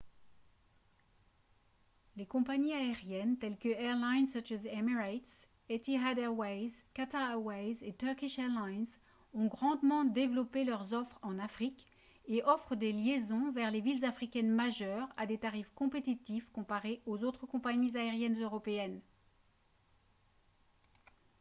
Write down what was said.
les compagnies aériennes telles que airlines such as emirates etihad airways qatar airways et turkish airlines ont grandement développé leur offres en afrique et offrent des liaisons vers les villes africaines majeures à des tarifs compétitifs comparés aux autres compagnies aériennes européennes